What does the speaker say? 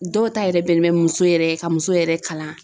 Dɔw ta yɛrɛ bɛnnen bɛ muso yɛrɛ ka muso yɛrɛ kalan.